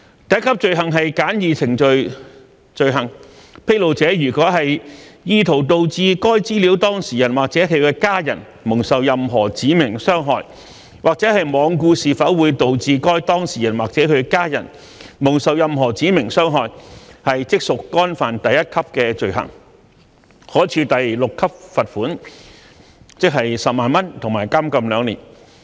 第一級罪行是簡易程序罪行，披露者如果意圖導致該資料當事人或其家人蒙受任何指明傷害，或罔顧是否會導致該當事人或其家人蒙受任何指明傷害，即屬干犯第一級罪行，可處第6級罰款及監禁2年。